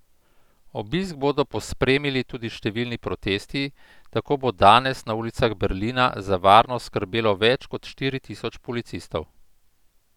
Obisk bodo pospremili tudi številni protesti, tako bo danes na ulicah Berlina za varnost skrbelo več kot štiri tisoč policistov.